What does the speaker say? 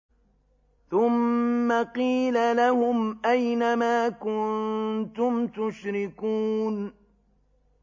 ثُمَّ قِيلَ لَهُمْ أَيْنَ مَا كُنتُمْ تُشْرِكُونَ